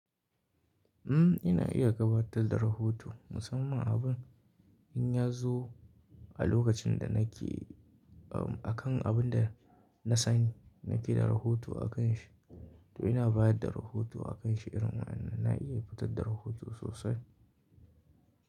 Umm, ina iya gabatar da rahoto musamman abun in ya zo a lokacin da nake, umm, akan abin da na sani nake da rahoto akan shi. To ina bayar da rahoto akan shi irin wannan na iya fitar da rahoto sosai.